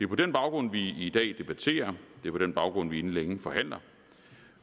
på den baggrund vi i dag debatterer det er på den baggrund vi inden længe forhandler